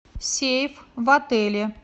сейф в отеле